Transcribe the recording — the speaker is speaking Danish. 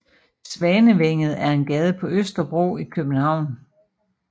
Svanevænget er en gade på Østerbro i København